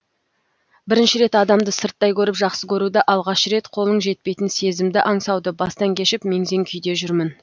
бірінші рет адамды сырттай көріп жақсы көруді алғашы рет қолың жетпейтін сезімді аңсауды бастан кешіп мең зең күйде жүрмін